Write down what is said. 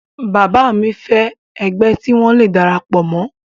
bàbá mi fẹ́ ẹgbẹ́ tí wọ́n le darapọ̀ mọ́